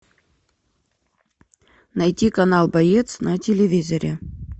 найти канал боец на телевизоре